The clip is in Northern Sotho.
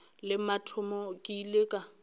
la mathomo ke ile ka